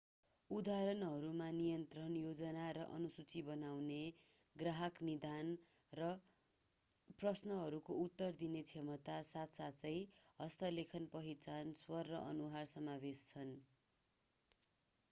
उदाहरणहरूमा नियन्त्रण योजना र अनुसूची बनाउने ग्राहक निदान र प्रश्नहरूको उत्तर दिने क्षमता साथसाथै हस्तलेखन पहिचान स्वर र अनुहार समावेश छन्